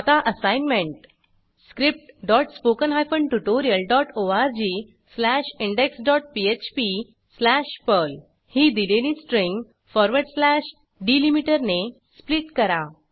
आता assignment scriptspoken tutorialorgindexphpपर्ल ही दिलेली स्ट्रिंग फॉरवर्ड स्लॅश डिलीमीटरने स्प्लिट करा